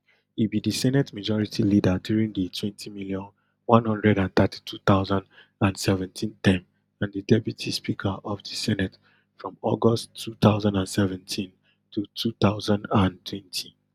e be di senate majority leader during di twenty million, one hundred and thirty-two thousand and seventeen term and di deputy speaker of di senate from august two thousand and seventeen to two thousand and twenty